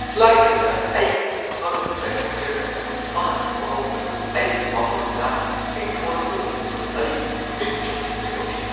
Flight ꯑꯗꯨꯗ ꯑꯩ ꯇꯨꯡꯗ ꯐꯝꯂꯤꯕ ꯄꯦꯁꯦꯟꯖꯔ ꯑꯗꯨꯅ ꯃꯍꯥꯛꯀꯤ ꯃꯈꯣꯡ ꯑꯗꯨ ꯑꯩꯒꯤ ꯐꯝꯐꯝ ꯂꯥꯟꯅ ꯇꯤꯡꯊꯣꯔꯛꯄꯗꯨ ꯎꯕꯗ ꯑꯩꯒꯤ ꯃꯤꯠ ꯆꯣꯡꯊꯣꯛꯀꯦ ꯇꯧꯈꯤ꯫